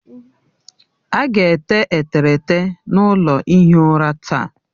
A ga-ete eterete n'ụlọ ihi ụra taa